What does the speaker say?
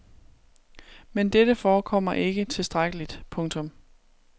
Men dette forekommer ikke tilstrækkeligt. punktum